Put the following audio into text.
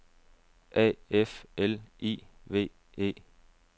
A F L I V E